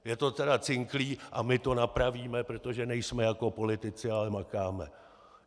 Je to teda cinklý a my to napravíme, protože nejsme jako politici, ale makáme.